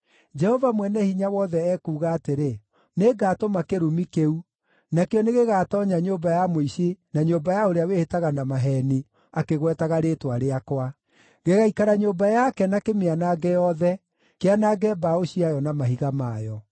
Jehova Mwene-Hinya-Wothe ekuuga atĩrĩ, ‘Nĩngatũma kĩrumi kĩu, nakĩo nĩgĩgatoonya nyũmba ya mũici na nyũmba ya ũrĩa wĩhĩtaga na maheeni akĩgwetaga rĩĩtwa rĩakwa. Gĩgaikara nyũmba yake na kĩmĩanange yothe, kĩanange mbaũ ciayo na mahiga mayo.’ ”